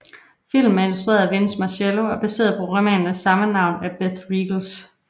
Filmen er instrueret af Vince Marcello og er baseret på romanen af samme navn af Beth Reekles